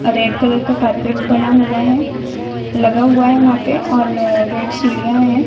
Red colour का carpet बना हुआ है लगा हुआ है वहां पर और रेड सीढ़ियां है।